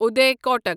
Uday Kotak